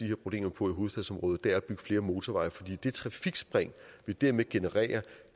her problemer på i hovedstadsområdet er ved at bygge flere motorveje fordi det trafikspring vi dermed genererer